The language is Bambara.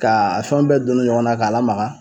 Ka fɛn bɛɛ don don ɲɔgɔn na k'a lamaga